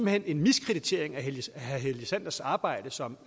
hen en miskreditering af herre helge sanders arbejde som